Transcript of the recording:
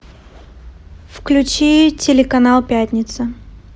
включи телеканал пятница